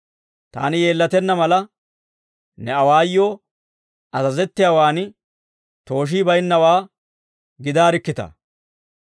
Taani yeellatenna mala, ne awaayoo azazettiyaawan tooshii bayinnawaa gidaarikkitaa!